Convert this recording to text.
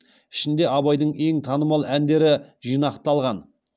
ішінде абайдың ең танымал әндері жинақталған